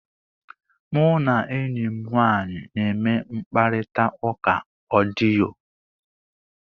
Mụ na enyi m nwaanyị na-eme mkparịta ụka odiyo.